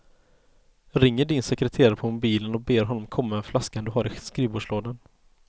Ringer din sekreterare på mobilen och ber honom komma med flaskan du har i skrivbordslådan.